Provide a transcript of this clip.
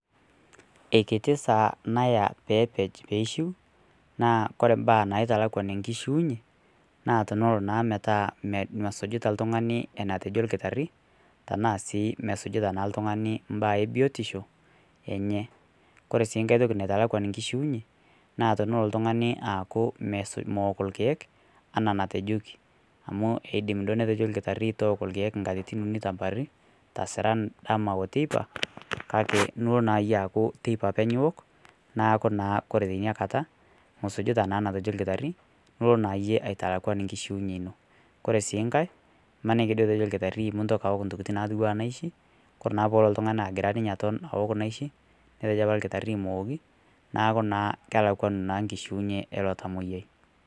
Eikitii saa nayaa peepej peishiu naa kore mbaa naitalakwan nkishiunyee naa teneloo naa metaa mesujutaa ltung'anii enatejoo lkitarii tanaa sii mesujutaa naa lltung'ani mbnaa ebiotisho enyee kore sii ng'hai tokii naitalakwan nkishiunye naa teneloo ltung'ani aaku mook lkeek anaa natejokii amu eidim duo netejo lkitarii tooko lkeek nkatitin unii tamoarii tasiran, dama oo teipaa kakee niloo naa yie aaku teipaa apeny iwok naaku naa kore teinia kataa musujitaa naa netejoo lkitarii niloo naa yie aitalakwan nkishiunyee inoo kore sii ng'hai naa imanikii duo etejoo lkitarii muntokii awok ntokitin natuwaa naishii kore naa peelo ltung'ani agiraa aton awok naishii netejoo apaa lkitarii mewokii naaku naa kelakwanuu nkishiunyee eloo tamoyai.